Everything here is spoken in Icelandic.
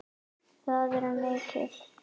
Það er mikið!